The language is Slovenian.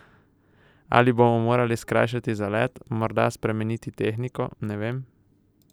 Ali bomo morali skrajšati zalet, morda spremeniti tehniko, ne vem?